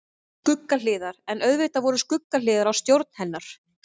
Skuggahliðar En auðvitað voru skuggahliðar á stjórn hennar.